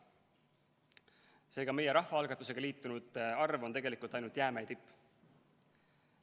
Seega, meie rahvaalgatusega liitunute arv on tegelikult ainult jäämäe tipp.